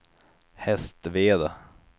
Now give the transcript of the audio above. Hästveda